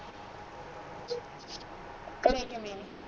ਘਰੇ ਕਿਵੇ ਆ